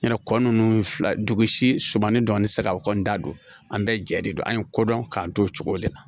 Yarɔ kɔ ninnu filɛ dugusi sumani dɔɔni tɛ se ka o kɔni da don an bɛɛ jɛ de don an ye ko dɔn k'an to o cogo de la